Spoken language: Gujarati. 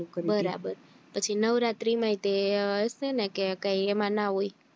બરાબર પછી નવરાત્રી માંય તે હશે ને કૈક કે એમાં ના હોય